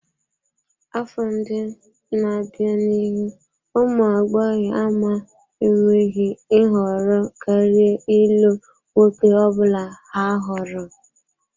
Afọ ndị na-abịa n'ihu ụmụ agbọghọ ama enweghị nhọrọ karịa ịlụ nwoke ọ bụla ha hụrụ.